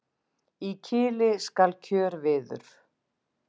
Í kili skal kjörviður.